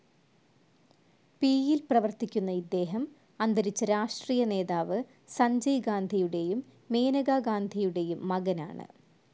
പിയിൽ പ്രവർത്തിക്കുന്ന ഇദ്ദേഹം, അന്തരിച്ച രാഷ്ട്രീയനേതാവ് സഞ്ജയ് ഗാന്ധിയുടെയും മേനക ഗാന്ധിയുടെയും മകനാണ്.